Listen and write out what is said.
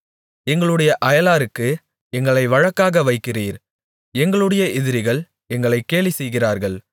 எங்களுடைய அயலாருக்கு எங்களை வழக்காக வைக்கிறீர் எங்களுடைய எதிரிகள் எங்களைக் கேலிசெய்கிறார்கள்